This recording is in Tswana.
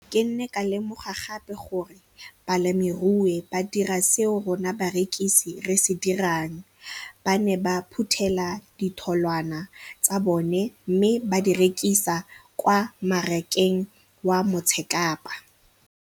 Ke ne ka lemoga gape gore balemirui ba dira seo rona barekisi re se dirang, ba ne ba phuthela ditholwana tsa bona mme ba di rekisa kwa marakeng wa Motsekapa.